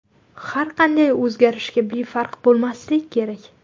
Har qanday o‘zgarishga befarq bo‘lmaslik kerak.